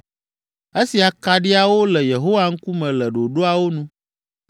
Esi akaɖiawo le Yehowa ŋkume le ɖoɖoawo nu,